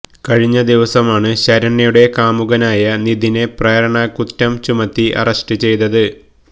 കഴിഞ്ഞ ദിവസമാണ് ശരണ്യയുടെ കാമുകനായ നിധിനെ പ്രേരണകുറ്റം ചുമത്തി അറസ്റ്റ് ചെയ്തത്